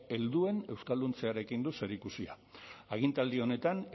helduen euskalduntzearekin du zerikusia agintaldi honetan